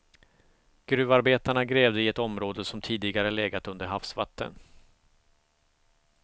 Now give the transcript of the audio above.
Gruvarbetarna grävde i ett område som tidigare legat under havsvatten.